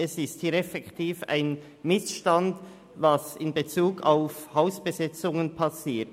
Es handelt sich effektiv um einen Missstand, was in Bezug auf Hausbesetzungen passiert.